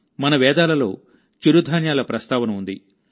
మన వేదాలలో చిరుధాన్యాల ప్రస్తావన ఉంది